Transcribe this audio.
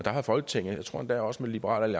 har folketinget jeg tror endda også med liberal